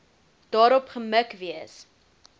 daarop gemik wees